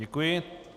Děkuji.